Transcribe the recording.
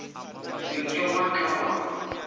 se ke wa tla wa